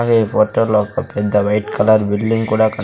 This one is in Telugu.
అలాగే ఈ హోటల్లో ఒక పెద్ద వైట్ కలర్ బిల్డింగ్ కూడా కన్--